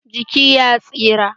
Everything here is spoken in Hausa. Jiki ya tsira.